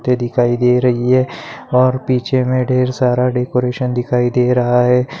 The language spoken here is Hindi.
दिखाई दे रही है और पीछे में ढेर सारा डेकोरेशन दिखाई दे रहा है।